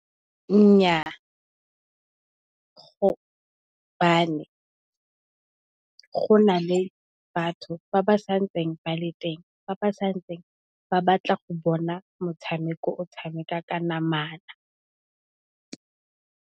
Nnyaa gobane go na le batho ba ba sa ntseng ba le teng ba ba santse ba batla go bona motshameko o tshamekwa ka namana.